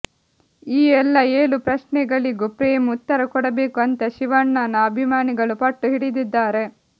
ಈ ಎಲ್ಲಾ ಏಳು ಪ್ರಶ್ನೆಗಳಿಗೂ ಪ್ರೇಮ್ ಉತ್ತರ ಕೊಡಬೇಕು ಅಂತ ಶಿವಣ್ಣನ ಅಭಿಮಾನಿಗಳು ಪಟ್ಟು ಹಿಡಿದಿದ್ದಾರೆ